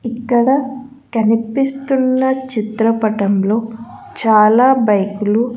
ఇక్కడ కనిపిస్తున్న చిత్రపటంలో చాలా బైకులు --